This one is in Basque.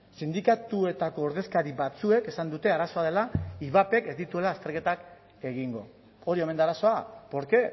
sindikatuetako ordezkari batzuek esan dute arazoa dela ivapek ez dituela azterketak egingo hori omen da arazoa por qué